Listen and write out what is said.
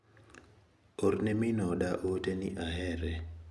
Orne min oda ote ni ahere.